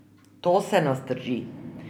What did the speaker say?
To se nas drži.